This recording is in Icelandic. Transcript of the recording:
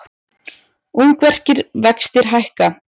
Ungverskir vextir hækka